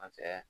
An fɛ yan